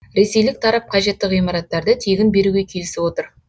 ресейлік тарап қажетті ғимараттарды тегін беруге келісіп отыр